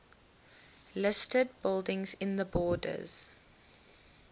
listed buildings in the borders